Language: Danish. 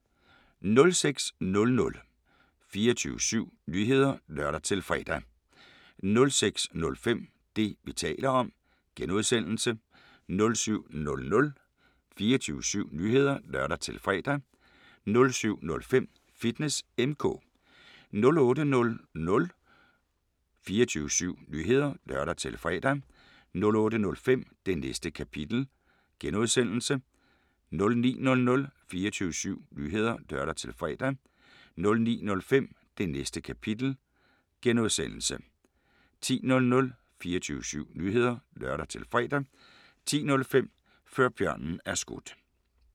06:00: 24syv Nyheder (lør-fre) 06:05: Det, vi taler om (G) 07:00: 24syv Nyheder (lør-fre) 07:05: Fitness M/K 08:00: 24syv Nyheder (lør-fre) 08:05: Det Næste Kapitel (G) 09:00: 24syv Nyheder (lør-fre) 09:05: Det Næste Kapitel (G) 10:00: 24syv Nyheder (lør-fre) 10:05: Før Bjørnen Er Skudt